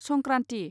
Sankranti